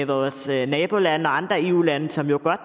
vores nabolande og andre eu lande som jo godt